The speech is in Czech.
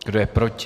Kdo je proti?